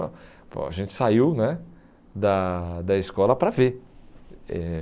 Pô a gente saiu né da da escola para ver. Eh